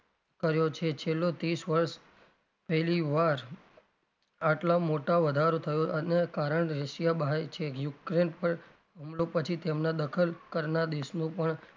કર્યો છે છેલ્લો ત્રીશ વર્ષ પહેલી વાર આટલો મોટો વધારો થયો અને કારણ રશિયા બહાય છે યુક્રેન પણ હુમલો પછી તેમનાં દખલ કરનાર દેશનું પણ,